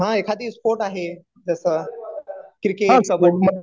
हा एखादी स्पोर्ट आहे तसं क्रिकेट, कबड्डी